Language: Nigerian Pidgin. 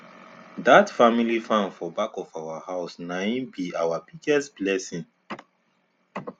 dat family farm for back of our house nai b our biggest blessing